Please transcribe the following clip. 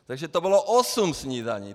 Takže to bylo osm snídaní.